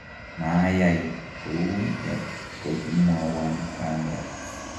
mayai kou ya kokimwowon kamet